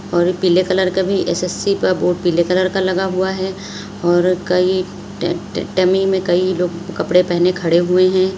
और एक पीले कलर कभी एस_एस_सी का बोर्ड पीले कलर का लगा हुआ है और कई में कई लोग कपड़े पहने खड़े हुए हैं।